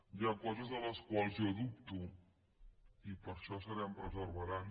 hi ha coses de les quals jo dubto i per això serem perseverants